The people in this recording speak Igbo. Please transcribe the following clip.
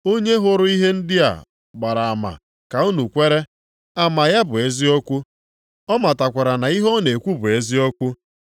Onye hụrụ ihe ndị a gbara ama ka unu kwere, ama ya bụ eziokwu, ọ matakwara na ihe ọ na-ekwu bụ eziokwu.